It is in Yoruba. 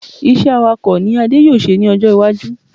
Iṣẹ́ Awakọ̀ ni Adé yóò ṣe ní ọjọ́ iwájú